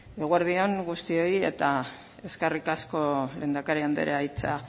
eguerdi on guztioi eta eskerrik asko lehendakari andrea hitza